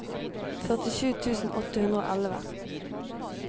førtisju tusen åtte hundre og elleve